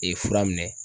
Ee fura minɛ